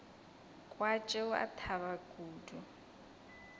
kwa tšeo a thaba kudu